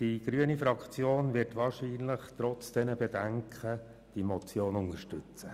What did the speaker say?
Die grüne Fraktion wird wahrscheinlich trotz dieser Bedenken die Motion unterstützen.